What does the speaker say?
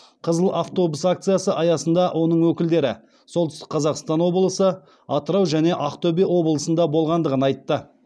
қызыл автобус акциясы аясында оның өкілдері солтүстік қазақстан облысы атырау және ақтөбе облысында болғандығын айтты